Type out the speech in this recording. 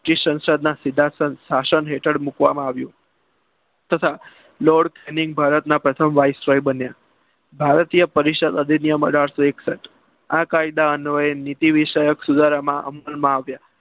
british સાંસદના શાસન હેઠળ મૂકવામાં આવ્યું. તથા લોડ રિલીઝ ભારતના પ્રથમ બન્યા ભારતીય પરિષદ અધિનિયમ અઢારસો એકસઠ આ કાયદા અન્વયે નીતિ વિષયક સુધારા અમલમાં આવ્યા.